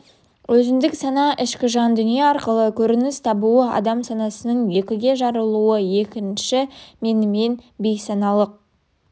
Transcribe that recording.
өзіндік сана ішкі жан дүние арқылы көрініс табуы адам санасының екіге жарылуы екінші менімен бейсаналық